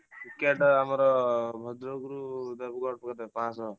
Ticket ଆମର ଭଦ୍ରକରୁ ଦେବଗଡ଼ ବଧେ ପାଞ୍ଚଶହ।